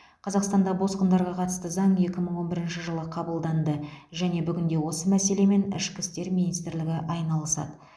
қазақстанда босқындарға қатысты заң екі мың он бірінші жылы қабылданды және бүгінде осы мәселемен ішкі істер министрлігі айналысады